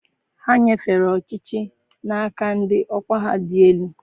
Ha nyefere ọchịchị n'aka ndị ọkwa ha dị elu.